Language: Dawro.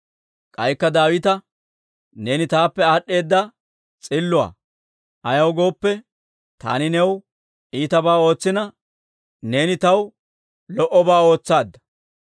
K'aykka Daawita, «Neeni taappe aad'd'eedda s'illuwaa; ayaw gooppe, taani new iitabaa ootsina, neena taw lo"obaa ootsaadda.